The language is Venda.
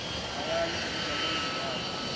hayani u vhidza muunḓi wawe